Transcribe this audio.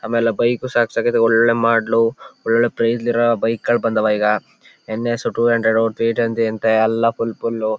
ಆಮೇಲೆ ಆ ಬೈಕ್ ಒಳ್ಳೆ ಮಾಡೆಲ್ ಒಳ್ಳೊಳ್ಳೆ ಪ್ರೈಸ್ ಅಲ್ಲಿ ಇರೋ ಬೈಕ್ ಗಳು ಬಂದವ ಈಗ ಏನ್ ಯಸ್ ಟೂ ಹಂಡ್ರೆಡ್ ಎಲ್ಲ ಫುಲ್ ಫುಲ್.